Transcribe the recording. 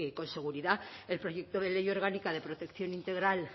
con seguridad el proyecto de ley orgánica de protección integral